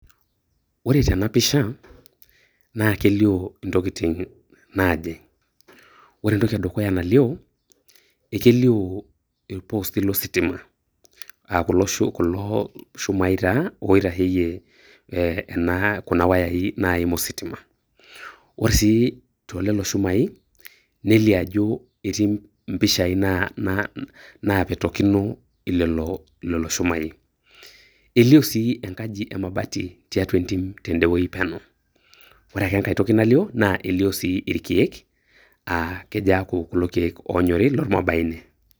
Ore tena pisha naa kelio intokitin naaje, ore entoki edukuya nalioo ekelioo ilpostii lositima aa kulo shumai taa oitasheyie enaa, kuna wayai naim ositima. Ore sii tolelo shumai nelio ajo etii mpishai napetokino lelo, lelo shumai. Elio sii enkaji emabati tiatua entim tendewuei peno. Ore ake enkae toki nalio naa elio sii ilkeek aa kejo eaku kulo keek oonyori lolmwarubaine.